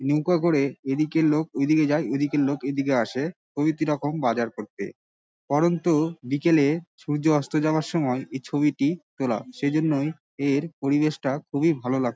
নৌকা করে ঐদিকের লোক ওই দিকে যাই ওই দিকের লোক এই দিকে আসে। কবি কিরকম বাজার করতে। পড়ন্ত বিকালে সূর্য অস্ত যাওয়ার সময়ে এই ছবিটি তোলা। সেজন্য এর পরিবেশটা খুবই ভালো লাগছে ।